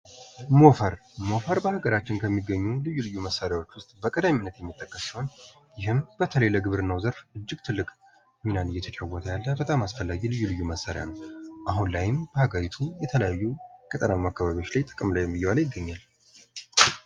ሞፈር በሀገራችን ከሚገኙ በቅድሚያ የሚጠቀስ ሲሆን ይህም በተለይ ለግብርና ዘርፍ እጅግ ትልቅ ሚና እየተጫወተ ያለ በጣም አስፈላጊ ልዩ ልዩ መሣሪያ ነው አሁን ላይም በሀገሪቱ የተለያዩ የገጠር አማርኛ ጥቅም ላይ እየዋለ ይገኛል።